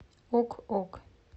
ок ок